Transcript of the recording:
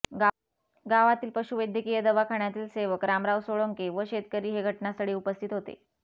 गावातील पशुवैद्यकीय दवाखान्यातील सेवक रामराव सोळंके व शेतकरी हे घटनास्थळी उपस्थित होते